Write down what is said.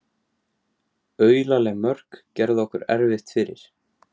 Aulaleg mörk gerðu okkur erfitt fyrir